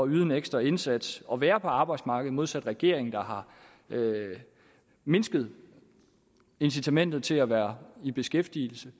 yde en ekstra indsats og være på arbejdsmarkedet modsat regeringen der har mindsket incitamentet til at være i beskæftigelse